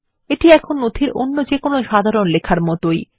এটি নথিতে অন্য যেকোনো সাধারণ লেখার মতই